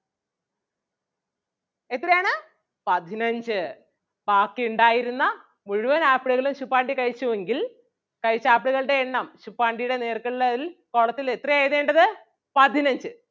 എത്രയാണ് പതിനഞ്ച് ബാക്കി ഉണ്ടാരുന്ന മുഴുവൻ ആപ്പിളുകളും ശുപ്പാണ്ടി കഴിച്ചു എങ്കിൽ കഴിച്ച ആപ്പിളുകളുടെ എണ്ണം ശുപ്പാണ്ടിയുടെ നേർക്ക് ഉള്ളതിൽ column ത്തിൽ എത്രയാ എഴുതേണ്ടത് പതിനഞ്ച്.